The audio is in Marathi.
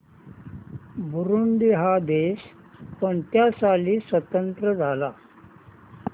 बुरुंडी हा देश कोणत्या साली स्वातंत्र्य झाला